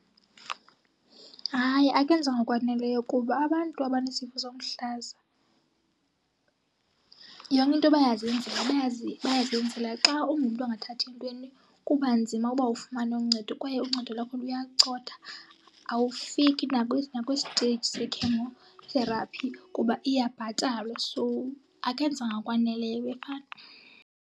Hayi, akwenzwa ngokwaneleyo kuba abantu abanesifo somhlaza yonke into bayazenzela, bayazenzela. Xa ungumntu ongathathi ntweni kuba nzima uba ufumane uncedo kwaye uncedo lwakho luyacotha. Awufiki nakwisteyiji se-chemotherapy kuba iyabhatalwa so akwenzwa ngokwaneleyo .